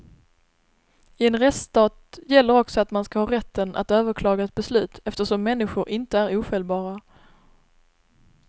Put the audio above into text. I en rättsstat gäller också att man skall ha rätten att överklaga ett beslut eftersom människor inte är ofelbara.